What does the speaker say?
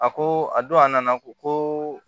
A ko a don a nana ko